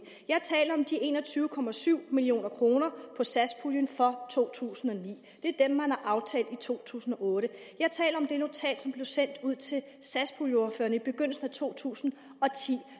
jeg taler om de en og tyve og tyve million kroner satspuljen for to tusind og ni det er dem man har aftalt i to tusind og otte jeg taler om det notat som blev sendt ud til satspuljeordførerne i begyndelsen af to tusind og ti